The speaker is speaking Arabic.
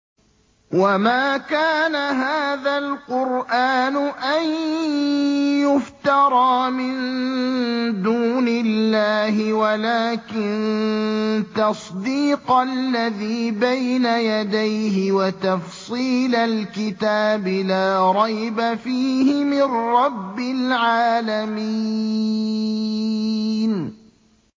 وَمَا كَانَ هَٰذَا الْقُرْآنُ أَن يُفْتَرَىٰ مِن دُونِ اللَّهِ وَلَٰكِن تَصْدِيقَ الَّذِي بَيْنَ يَدَيْهِ وَتَفْصِيلَ الْكِتَابِ لَا رَيْبَ فِيهِ مِن رَّبِّ الْعَالَمِينَ